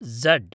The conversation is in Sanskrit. झड्